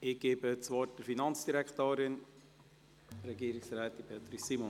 Ich erteile der Finanzdirektorin das Wort: Regierungsrätin Beatrice Simon.